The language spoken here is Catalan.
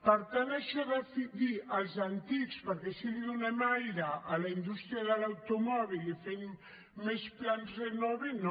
per tant això de dir els antics perquè així donem aire a la indústria de l’automòbil i fem més plans renove no